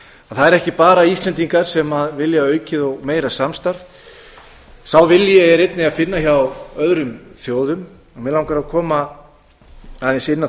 er ekki bara íslendingar sem vilja aukið og meira samstarf sá vilji er einnig að finna hjá öðrum þjóðum mig langar að koma aðeins inn á